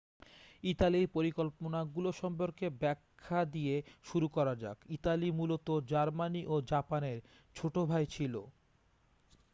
"ইতালির পরিকল্পনাগুলো সম্পর্কে ব্যাখ্যা দিয়ে শুরু করা যাক। ইতালি মূলত জার্মানি ও জাপানের "ছোট ভাই" ছিল।